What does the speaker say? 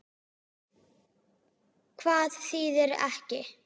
Hvað þýðir ekki?